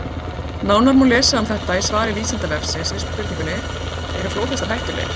Nánar má lesa um þetta í svari Vísindavefsins við spurningunni: Eru flóðhestar hættulegir?